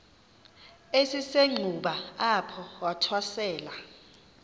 esisenxuba apho wathwasela